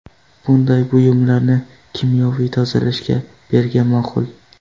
Bunday buyumlarni kimyoviy tozalashga bergan ma’qul.